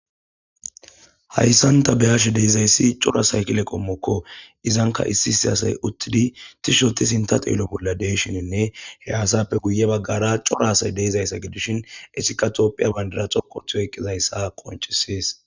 hayssanta beyash deezayssi cora saykile qommokko izanka issi issi asay uttidi tishoti sinta xeelo bolla deeshininne he asappe guye baggara cora asay deezayssa gidishin esikatopphiya bandira xoqotiyo qizayssa qonchisees